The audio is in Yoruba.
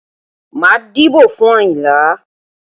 Má dìbò fún Àyìnlá!